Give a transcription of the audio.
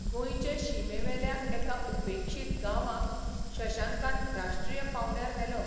गोंयचे शिमेवेल्या एका उपेक्षीत गांवांक शशांकान राष्ट्रीय पावंड्यार व्हेलो.